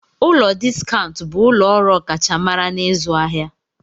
Ụlọ Diskaụnt bụ ụlọ ọrụ ọkachamara n'ịzụ ahịa.